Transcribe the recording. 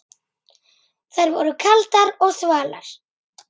Þær voru kaldar og þvalar.